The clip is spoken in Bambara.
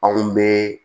Anw bɛ